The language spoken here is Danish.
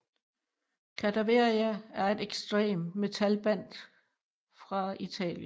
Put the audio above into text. Cadaveria er et ekstremmetal band fra Italien